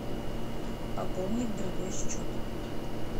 пополнить другой счет